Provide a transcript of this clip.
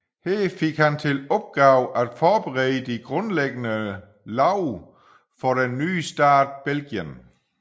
Her fik han til opgave at forberede de grundlæggende love for den nye stat Belgien